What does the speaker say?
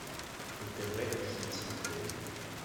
нтв хит смотреть